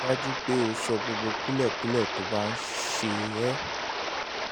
rí i dájú pé o sọ gbogbo kúlẹ̀kúlẹ̀ tó bá um ṣe é ṣe